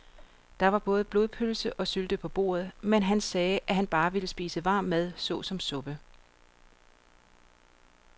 Der var både blodpølse og sylte på bordet, men han sagde, at han bare ville spise varm mad såsom suppe.